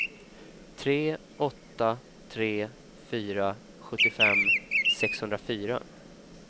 tre åtta tre fyra sjuttiofem sexhundrafyra